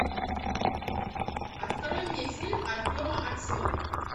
открой мне фильм артема аксененко